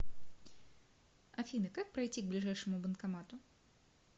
афина как пройти к ближайшему банкомату